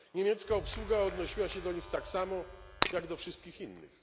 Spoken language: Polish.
Niemiecka obsługa odnosiła się do nich tak samo jak do wszystkich innych.